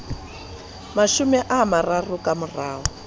mashome a mararo ka mora